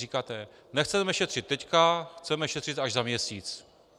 Říkáte: Nechceme šetřit teď, chceme šetřit až za měsíc.